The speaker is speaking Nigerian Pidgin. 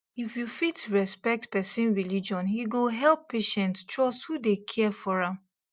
if you fit respect person religion e go help patient trust who dey care for am